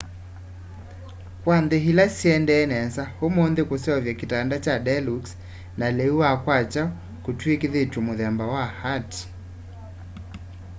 kwa nthî ila syendee nesa ûmûnthî kuseuvya kitanda kya deluxe na lîû wa kwakya kûtwîkîthîtw'e muthemba wa ati